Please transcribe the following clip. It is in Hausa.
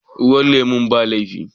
Ruwan lemun ba laifi.